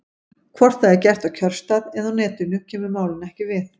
Hvort það er gert á kjörstað eða á Netinu kemur málinu ekki við.